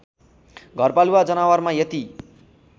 घरपालुवा जनावरमा यति